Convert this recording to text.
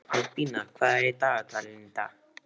Albína, hvað er í dagatalinu í dag?